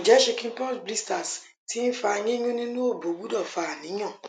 nje chicken pox blisters ti n fa yinyun ninu obo gbudo fa aniyan